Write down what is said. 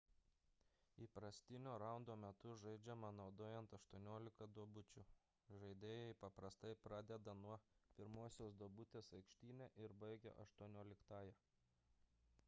įprastinio raundo metu žaidžiama naudojant aštuoniolika duobučių žaidėjai paprastai pradeda nuo pirmosios duobutės aikštyne ir baigia aštuonioliktąja